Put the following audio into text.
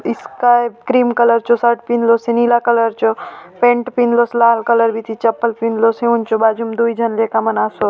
sky cream colour चो shirt पहिनलो से नीला कलर चो पैंट पिनलो लाल कलर बीती चप्पल पिनलो से ऊंचो बाजु में दुइ झन लइका मन आसोत --